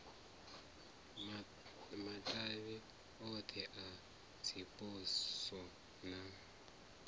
matavhi othe a dziposo na